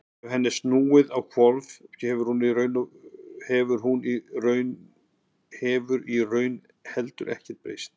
ef henni er snúið á hvolf þá hefur í raun heldur ekkert breyst